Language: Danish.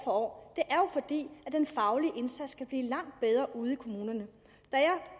år det er den faglige indsats kan blive langt bedre ude i kommunerne da